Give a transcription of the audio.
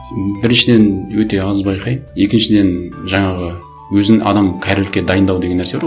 біріншіден өте аз байқаймын екіншіден жаңағы өзін адам кәрілікке дайындау деген нәрсе бар ғой